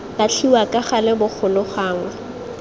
latlhiwa ka gale bogolo gangwe